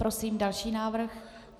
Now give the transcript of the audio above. Prosím další návrh.